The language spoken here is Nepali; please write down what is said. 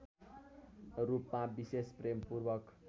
रूपमा विशेष प्रेमपूर्वक